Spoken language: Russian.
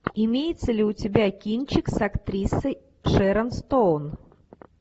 имеется ли у тебя кинчик с актрисой шэрон стоун